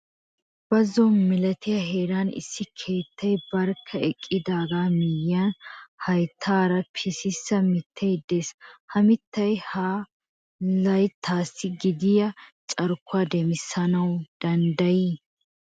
Bazzo malatiya heeran issi keettay barkka eqqidaaga miyyiyaan hayttaara pisissa mittay de'ees. Ha mittay ha leettassi gidiya carkkuwaa demmisanaw dandday?